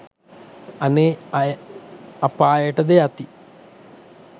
අනේ අය අපායට ද යති.